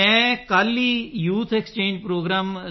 ਮੈਂ ਕੱਲ ਹੀ ਯੂਥ ਐਕਸਚੇਂਜ ਪ੍ਰੋਗਰਾਮ